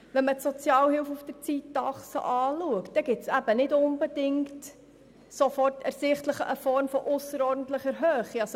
Wenn man die Sozialhilfe auf der Zeitachse betrachtet, ist nicht unbedingt sofort eine Form von ausserordentlicher Höhe ersichtlich.